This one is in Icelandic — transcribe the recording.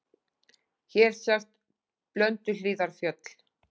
Hér sjást Blönduhlíðarfjöll.